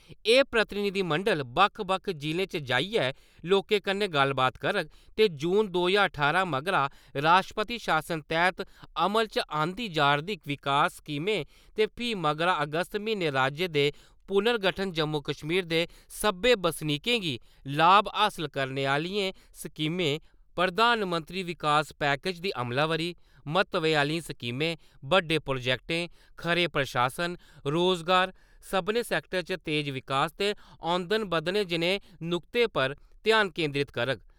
एह् प्रतिनिधिमंडल बक्ख-बक्ख जि'लें च जाइयै लोकें कन्नै गल्लबात करोग, ते जून दो ज्हार ठारां मगरा राश्ट्रपति शासन तैह्त अमल च आंदी जा'रदियें विकास स्कीमें ते फ्ही मगरा अगस्त म्हीनै राज्य दे पुर्नगठन जम्मू कश्मीर दे सभनें बसनीकें गी लाभ हासल करने आह्लियें स्कीमें, प्रधानमंत्री विकास पैकेज दी अमलावरी, म्हत्वै आह्लियें स्कीमें, बड्डे प्रोजेक्टें, खरे प्रशासन, रोजगार, सभनें सैक्टरें च तेज विकास अमदन बधाने जनेह् नुक्तें पर ध्यान केन्द्रित करग।